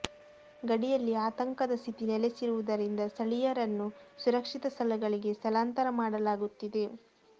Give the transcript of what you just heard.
ಗಡಿಯಲ್ಲಿ ಆತಂಕದ ಸ್ಥಿತಿ ನೆಲೆಸಿರುವುದರಿಂದ ಸ್ಥಳೀಯರನ್ನು ಸುರಕ್ಷಿತ ಸ್ಥಳಗಳಿಗೆ ಸ್ಥಳಾಂತರ ಮಾಡಲಾಗುತ್ತಿದೆ